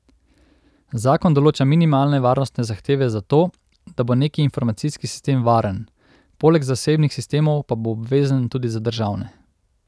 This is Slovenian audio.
Zakon določa minimalne varnostne zahteve za to, da bo neki informacijski sistem varen, poleg zasebnih sistemov pa bo obvezen tudi za državne.